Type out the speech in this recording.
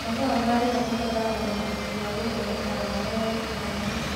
Mahũa maĩo makoragwo na ũhoti wagũthondeka dawa ya tũtambi.